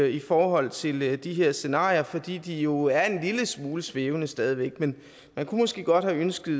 i forhold til de her scenarier fordi de jo er en lille smule svævende stadig væk men man kunne måske godt have ønsket